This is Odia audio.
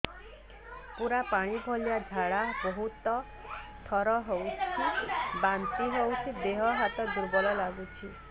ପୁରା ପାଣି ଭଳିଆ ଝାଡା ବହୁତ ଥର ହଉଛି ବାନ୍ତି ହଉଚି ଦେହ ହାତ ଦୁର୍ବଳ ଲାଗୁଚି